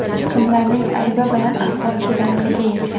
Kimlarning aybi bilan ahvol shu darajaga yetgan?